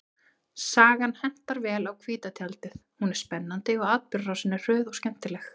Sagan hentar vel á hvíta tjaldið, hún er spennandi og atburðarásin er hröð og skemmtileg.